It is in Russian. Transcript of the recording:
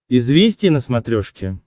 известия на смотрешке